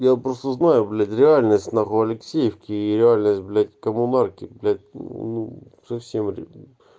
я просто знаю блять реальность нахуй алексеевки и реальность блять коммунарки блять мм ну совсем блять